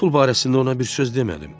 Pul barəsində ona bir söz demədim.